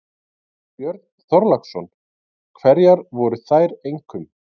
Björn Þorláksson: Hverjar voru þær einkum?